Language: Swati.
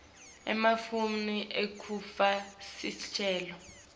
emafomu ekufaka sicelo